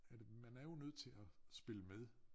Af det man er jo nødt til at spille med